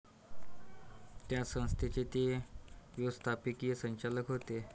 त्या संस्थेचे ते व्यवस्थापकीय संचालक होते.